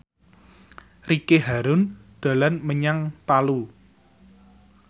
Ricky Harun dolan menyang Palu